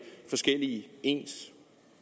forskellige ens